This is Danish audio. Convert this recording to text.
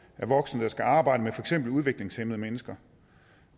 voksne der skal arbejde med for eksempel udviklingshæmmede mennesker